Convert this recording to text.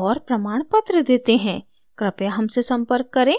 और प्रमाणपत्र देते हैं कृपया हमसे संपर्क करें